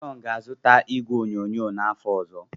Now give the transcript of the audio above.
John ga-azụta igwe onyonyo n'afọ ọzọ.